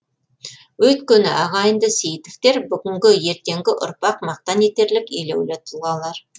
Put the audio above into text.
өйткені ағайынды сейітовтер бүгінгі ертеңгі ұрпақ мақтан етерлік елеулі тұлғалар